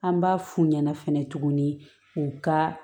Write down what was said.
An b'a f'u ɲɛna fɛnɛ tuguni u ka